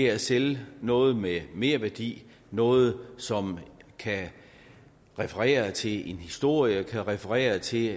er at sælge noget med merværdi noget som kan referere til en historie kan referere til